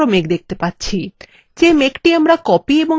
যে মেঘটি আমরা copied এবং পেস্ট করেছি সেটি কোথায়